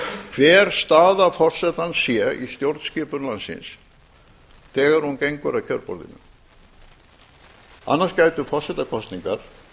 hver staða forsetans sé í stjórnskipun landsins þegar hún gengur að kjörborðinu annars gætu forsetakosningar